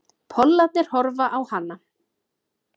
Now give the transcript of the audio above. Pollarnir horfa á hana.